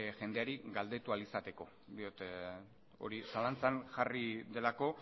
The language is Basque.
jendeari galdetu ahal izateko diot hori zalantzan jarri delako